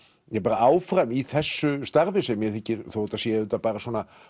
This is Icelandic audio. áfram í þessu starfi sem mér þykir þó þetta sé auðvitað bara